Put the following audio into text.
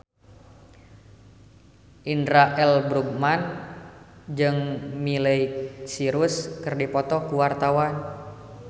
Indra L. Bruggman jeung Miley Cyrus keur dipoto ku wartawan